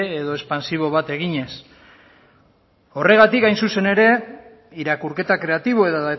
edo expantsibo bat eginez horregatik hain zuzen ere irakurketa kreatibo edo